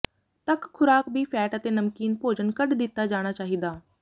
ਤੱਕ ਖੁਰਾਕ ਵੀ ਫ਼ੈਟ ਅਤੇ ਨਮਕੀਨ ਭੋਜਨ ਕੱਢ ਦਿੱਤਾ ਜਾਣਾ ਚਾਹੀਦਾ